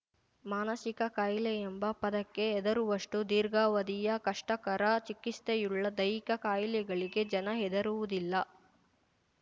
ಮಾನಸಿಕ ಕಾಯಿಲೆ ಎಂಬ ಪದಕ್ಕೆ ಹೆದರುವಷ್ಟು ದೀರ್ಘಾವಧಿಯ ಕಷ್ಟಕರ ಚಿಕಿತ್ಸೆಯುಳ್ಳ ದೈಹಿಕ ಕಾಯಿಲೆಗಳಿಗೆ ಜನ ಹೆದರುವುದಿಲ್ಲ